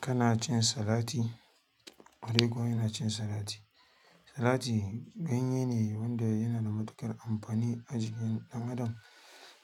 Kana cin salati? Ƙwarai ko ina cin salati. Salati ganye ne wanda yana da matuƙar amfani a jikin ɗan adam.